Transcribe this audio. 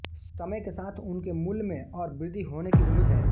समय के साथ उनके मूल्य में और वृद्धि होने की उम्मीद है